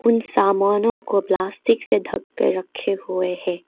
इन सामानों को प्लास्टिक से ढक के रखे हुए हैं।